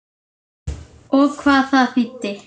Og hvað það þýddi.